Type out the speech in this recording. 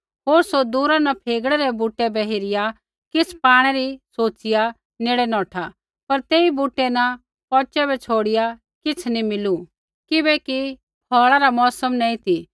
होर सौ दूरा न फेगड़े रै बूटै बै हेरिया किछ़ पाणै री सोचिया नेड़े नौठा पर तेई बूटै न पौचै बै छ़ौड़िआ किछ़ नी मिलू किबैकि फ़ौल़ा रा मौसम नैंई ती